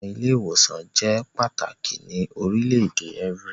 Awọn ile-iwosan jẹ pataki ni orilẹ-ede evry